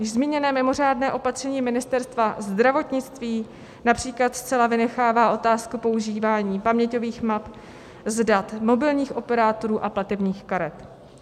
Už zmíněné mimořádné opatření Ministerstva zdravotnictví například zcela vynechává otázku používání paměťových map z dat mobilních operátorů a platebních karet.